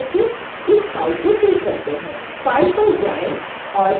file पर जाएं और save as पर क्लिक करें